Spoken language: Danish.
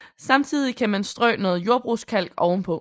Samtidig kan man strø noget jordbrugskalk oven på